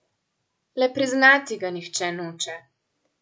Le priznati ga nihče noče.